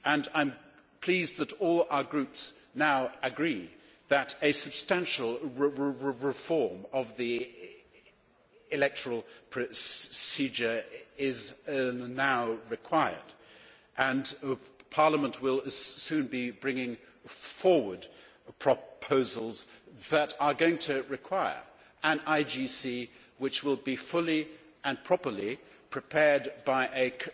I am pleased that all our groups now agree that a substantial reform of the electoral procedure is now required, and Parliament will soon be bringing forward proposals which are going to require an IGC, which will be fully and properly prepared by a